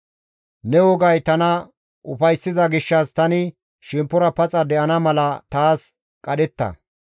Ne wogay tana ufayssiza gishshas tani shemppora paxa de7ana mala taas qadhetta.